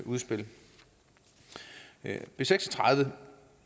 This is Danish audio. udspil b seks og tredive